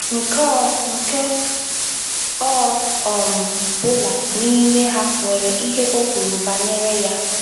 Nke ọ Nke ọ um bụla n’ime ha nwere ihe o kwuru banyere ya.